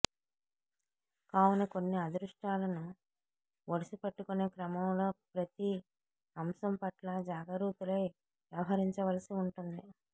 కావున కొన్ని అదృష్టాలను ఒడిసిపట్టుకునే క్రమంలో ప్రతి అంశం పట్ల జాగరూతులై వ్యవహరించవలసి ఉంటుంది